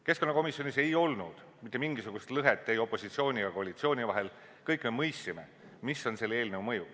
Keskkonnakomisjonis ei olnud mitte mingisugust lõhet opositsiooni ja koalitsiooni vahel, kõik me mõistsime, mis on selle eelnõu mõju.